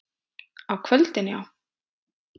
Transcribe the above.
Á kvöldin, já?